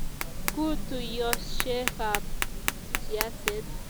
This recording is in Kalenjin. kuu tuiyoshekab siaset